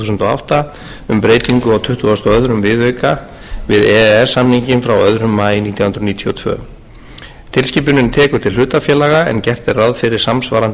átta um breytingu á tuttugustu og öðrum viðauka við e e s samninginn frá öðrum maí nítján hundruð níutíu og tvö tilskipunin tekur til hlutafélaga en gert er ráð fyrir samsvarandi